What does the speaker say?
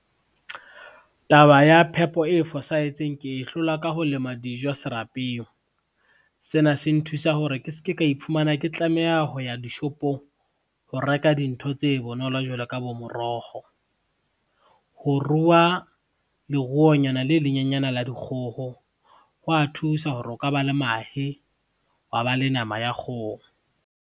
Taba ya phepo e fosahetseng ke e hlola ka ho lema dijo serapeng. Sena se nthusa hore ke ske ka iphumana ke tlameha ho ya dishopong ho reka dintho tse bonolo jwalo ka bo moroho. Ho ruwa leruonyana le lenyenyana la dikgoho hwa thusa hore o ka ba le mahe, wa ba le nama ya kgoho.